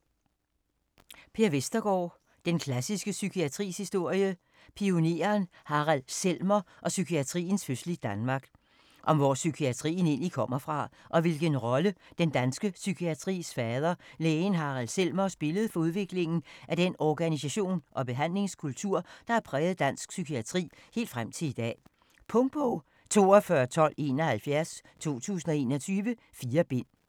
Vestergaard, Per: Den klassiske psykiatris historie: pioneren Harald Selmer og psykiatriens fødsel i Danmark Om hvor psykiatrien egentlig kommer fra, og hvilken rolle den danske psykiatris fader, lægen Harald Selmer, spillede for udviklingen af den organisation og behandlingskultur, der har præget dansk psykiatri helt frem til i dag. Punktbog 421271 2021. 4 bind.